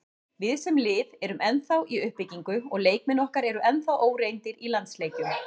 Við, sem lið, erum ennþá í uppbyggingu og leikmenn okkar eru ennþá óreyndir í landsleikjum.